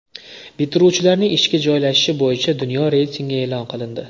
Bitiruvchilarning ishga joylashishi bo‘yicha dunyo reytingi e’lon qilindi.